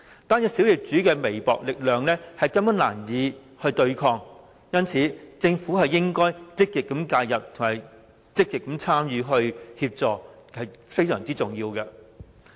個別小業主憑微薄力量根本難以對抗，因此政府應該積極介入和提供協助，這是非常重要的。